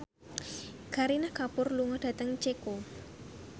Kareena Kapoor lunga dhateng Ceko